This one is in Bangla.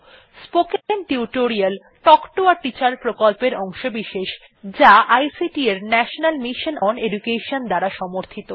spoken tutorial talk to a teacher প্রকল্পের অংশবিশেষ যা আইসিটি এর ন্যাশনাল মিশন ওন এডুকেশন দ্বারা সমর্থিত